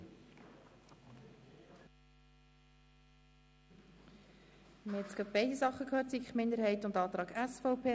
Grossrat Klopfenstein hat sich zu zwei Anträgen geäussert, jenem der SiK-Minderheit und jenem der SVP.